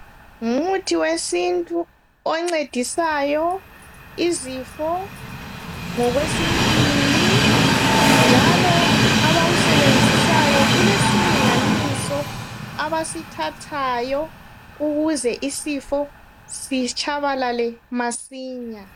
Ngumuthi wesintu oncedisayo izifo ngokwesintwini, njalo abawusebenzisayo kulesilinganiso abasithathayo ukuze isifo sitshabalale masinya.